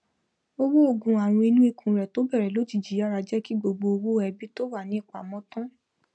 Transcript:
owó oògùn ààrùn inú ikùn rẹ tó bẹrẹ lójijì yàrá jẹ kí gbogbo owó ẹbí tó wà ní ìpamọ tán